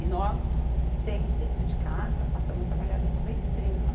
E nós, seis dentro de casa, passamos a trabalhar dentro da Estrela.